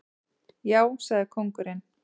Já, sagði kóngurinn.